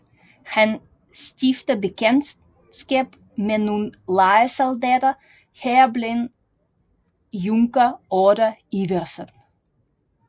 Han stifter bekendtskab med nogle lejesoldater heriblandt junker Otte Iversen